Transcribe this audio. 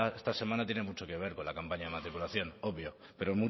esta semana tiene mucho que ver con la campaña de matriculación obvio pero